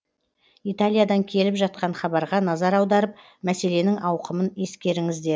италиядан келіп жатқан хабарға назар аударып мәселенің ауқымын ескеріңіздер